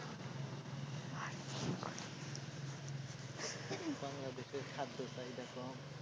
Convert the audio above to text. বাংলাদেশের খাদ্য চাহিদা কম।